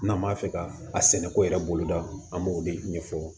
N'an b'a fɛ ka a sɛnɛko yɛrɛ boloda an b'o de ɲɛfɔ